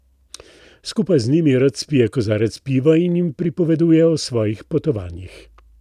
Skupaj z njimi rad spije kozarec piva in jim pripoveduje o svojih potovanjih.